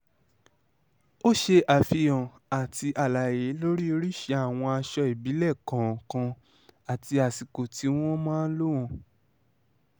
ó ṣe àfihàn àti àlàyé lórí oríṣìí àwọn aṣọ ìbílẹ̀ kọ̀ọ̀kan àti àsìkò tí wọ́n máa ń lò wọ́n